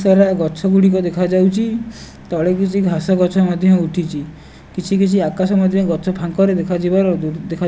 ବହୁତ ସାରା ଗଛ ଗୁଡ଼ିକ ଦେଖାଉଛି ତଳେ କିଛି ଘାସ ଗଛ ମଧ୍ୟ ଉଠିଛି କିଛି କିଛି ଆକାଶ ମଧ୍ୟ ଗଛ ଫାଙ୍କ ରେ ଦେଖା ଯିବାର।